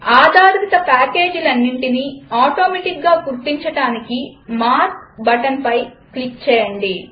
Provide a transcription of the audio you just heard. ఆధారిత పాకేజ్లన్నిటినీ ఆటోమెటిక్గా గుర్తించడానికి మార్క్ బటన్పై క్లిక్ చేయండి